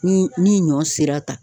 Ni ni ɲɔn sera tan.